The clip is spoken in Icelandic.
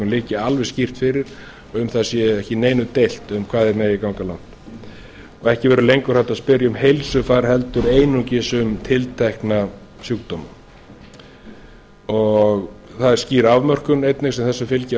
liggi alveg skýrt fyrir um það sé ekki neitt deilt um hvað þeir megi ganga langt og ekki verði lengur hægt að spyrja um heilsufar heldur einungis um tiltekna sjúkdóma það er einnig skýr afmörkun sem þessu fylgja